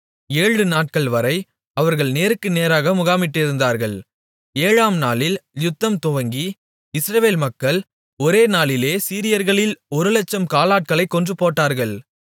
ஏழுநாட்கள்வரை அவர்கள் நேருக்கு நேராக முகாமிட்டிருந்தார்கள் ஏழாம் நாளில் யுத்தம் துவங்கி இஸ்ரவேல் மக்கள் ஒரே நாளிலே சீரியர்களில் ஒரு 100000 காலாட்களைக் கொன்றுபோட்டார்கள்